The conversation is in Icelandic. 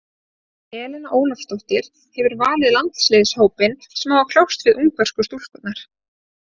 Helena Ólafsdóttir hefur valið landsliðshópinn sem á að kljást við ungversku stúlkurnar.